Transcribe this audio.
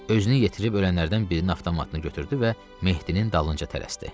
Özünü yetirib ölənlərdən birinin avtomatını götürdü və Mehdinin dalınca tələsdi.